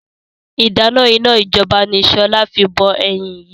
Ìdáná iná ijọba ni sọlá fi bọ ẹyin yìí